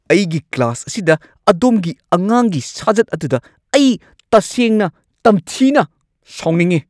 ꯑꯩꯒꯤ ꯀ꯭ꯂꯥꯁ ꯑꯁꯤꯗ ꯑꯗꯣꯝꯒꯤ ꯑꯉꯥꯡꯒꯤ ꯁꯥꯖꯠ ꯑꯗꯨꯗ ꯑꯩ ꯇꯁꯦꯡꯅ ꯇꯝꯊꯤꯅ ꯁꯥꯎꯅꯤꯡꯉꯤ!